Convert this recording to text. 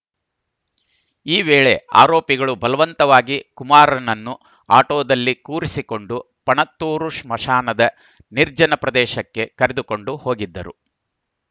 ಈ ವೇಳೆ ಆರೋಪಿಗಳು ಬಲವಂತವಾಗಿ ಕುಮಾರ್‌ನನ್ನು ಆಟೋದಲ್ಲಿ ಕೂರಿಸಿಕೊಂಡು ಪಣತ್ತೂರು ಸ್ಮಶಾನದ ನಿರ್ಜನ ಪ್ರದೇಶಕ್ಕೆ ಕರೆದುಕೊಂಡು ಹೋಗಿದ್ದರು